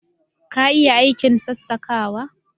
Ka iya aikin sassakawa